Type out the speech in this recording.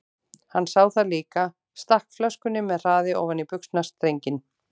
Hann sá það líka, stakk flöskunni með hraði ofan í buxnastrenginn.